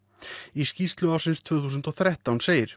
í skýrslu ársins tvö þúsund og þrettán segir